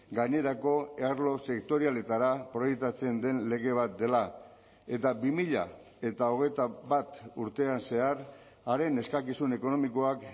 gainerako arlo sektorialetara proiektatzen den lege bat dela eta bi mila hogeita bat urtean zehar haren eskakizun ekonomikoak